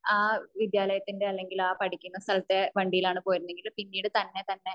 വിദ്യാലയത്തിന്റെ അല്ലെങ്കിൽ പഠിക്കുന്ന സ്ഥലത്തിന്റെ വണ്ടിയിലാണ് പോയിരുന്നതെങ്കിലും പിന്നീട് തന്നെ തന്നെ